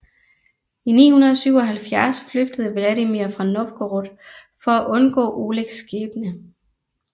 I 977 flygtede Vladimir fra Novgorod for at undgå Olegs skæbne